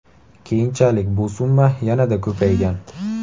Keyinchalik bu summa yanada ko‘paygan.